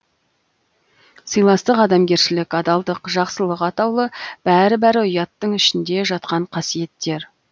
сыйластық адамгершілік адалдық жақсылық атаулы бәрі бәрі ұяттың ішінде жатқан қасиеттер